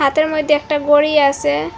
হাতের মইদ্যে একটা গড়ি আসে।